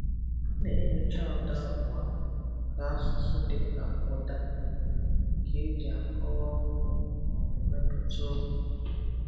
A na-enyocha ụda abụọ nke asụsụ, dịka ụda bụ nke e ji akọwa okwu maọbụ mepụta okwu.